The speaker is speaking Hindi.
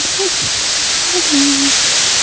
बट यह भी नजर आ रही है।